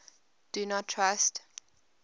do not trust